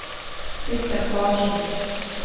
Sissel Carlsen